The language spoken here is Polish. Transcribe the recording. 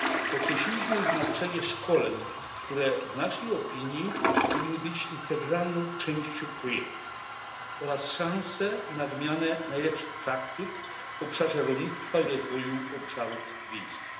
Podkreśliliśmy znaczenie szkoleń, które w naszej opinii powinny być integralną częścią projektu oraz szansą na wymianę najlepszych praktyk w obszarze rolnictwa i rozwoju obszarów wiejskich.